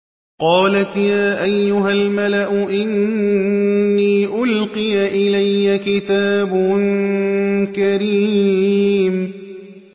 قَالَتْ يَا أَيُّهَا الْمَلَأُ إِنِّي أُلْقِيَ إِلَيَّ كِتَابٌ كَرِيمٌ